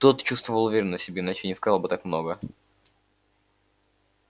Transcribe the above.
тот чувствовал уверенность в себе иначе не сказал бы так много